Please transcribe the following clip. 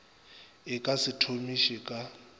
e ka se thomiše ka